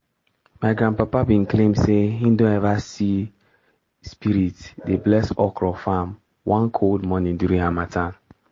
my grandpapa be claim say him don ever see spirit dey bless okro farm one cold morning during harmattan.